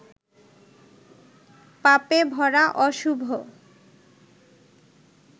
পাপেভরা অশুভ